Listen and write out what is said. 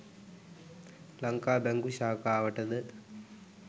ලංකා බැංකු ශාඛාවට ද